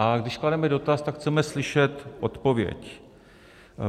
A když klademe dotaz, tak chceme slyšet odpověď.